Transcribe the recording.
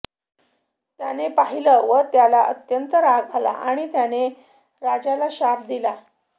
त्याने पाहिलं व त्याला अत्यंत राग आला आणि त्याने राजाला शाप दिला